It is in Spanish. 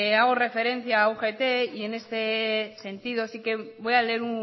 hago referencia a ugt y en este sentido sí que voy a leer